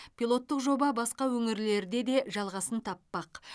пилоттық жоба басқа өңірлерде де жалғасын таппақ